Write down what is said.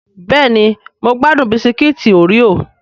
Bẹ́ẹ̀ni mo gbádùn Bisikíìtì oreo